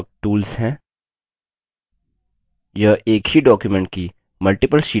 ये एक ही document की multiple शीट्स में जानकारी input कर सकते हैं